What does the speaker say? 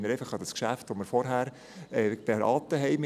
Ich erinnere an das Geschäft, das wir vorhin beraten haben.